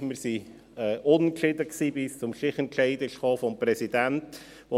Wir waren unentschieden, bis der Präsident einen Stichentscheid gefällt hat.